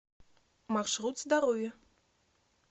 маршрут здоровье